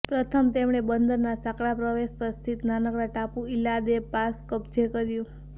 પ્રથમ તેમણે બંદરના સાંકડા પ્રવેશ પર સ્થિત નાનકડા ટાપુ ઇલ દે લા પાસ કબ્જે કર્યુ